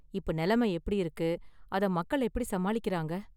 இப்ப நிலைமை எப்படி இருக்கு, அதை மக்கள் எப்படி சமாளிக்கிறாங்க​?